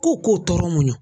Ko k'o tɔɔrɔ muɲu